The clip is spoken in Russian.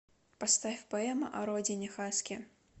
поставь поэма о родине хаски